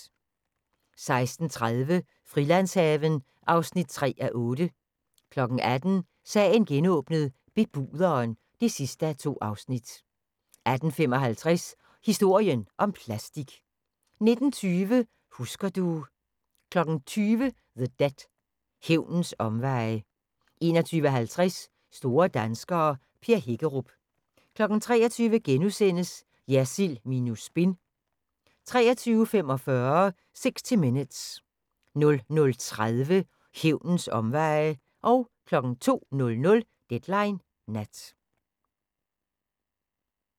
16:30: Frilandshaven (3:8) 18:00: Sagen genåbnet: Bebuderen (2:2) 18:55: Historien om plastik 19:20: Husker du ... 20:00: The Debt – Hævnens omveje 21:50: Store danskere - Per Hækkerup 23:00: Jersild minus spin * 23:45: 60 Minutes 00:30: Hævnens omveje 02:00: Deadline Nat